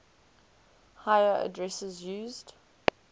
higher addresses used